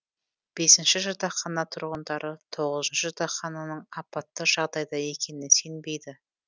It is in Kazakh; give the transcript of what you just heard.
бесінші жатақхана тұрғындары тоғызыншы жатақханың апатты жағдайда екеніне сенбейді